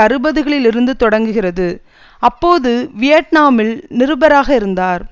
அறுபதுகளில் இருந்து தொடங்குகிறது அப்போது வியட்நாமில் நிருபராக இருந்தார்